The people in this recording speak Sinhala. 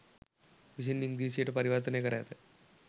විසින් ඉංග්‍රීසියට පරිවර්තනය කර ඇත